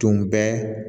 Tun bɛ